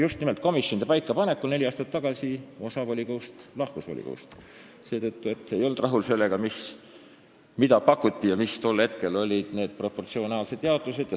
Just nimelt komisjonide paikapaneku tõttu neli aastat tagasi osa volikogu liikmetest lahkus volikogust seepärast, et ei oldud rahul sellega, mida pakuti ja milline tol hetkel oli see proportsionaalne jaotus.